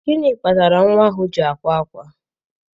Gịnị kpatara nwa ahụ ji akwa ákwá?